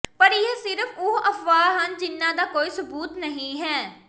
ਪਰ ਇਹ ਸਿਰਫ ਉਹ ਅਫਵਾਹ ਹਨ ਜਿਨ੍ਹਾਂ ਦਾ ਕੋਈ ਸਬੂਤ ਨਹੀਂ ਹੈ